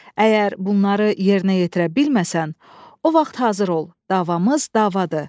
Əgər bunları yerinə yetirə bilməsən, o vaxt hazır ol, davamız davadır.